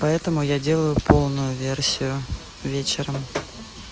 поэтому я делаю полную версию вечером